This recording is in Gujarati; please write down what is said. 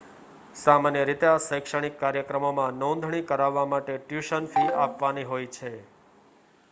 સામાન્ય રીતે આ શૈક્ષણિક કાર્યક્રમોમાં નોંધણી કરાવવા માટે ટ્યુશન ફી આપવાની હોય છે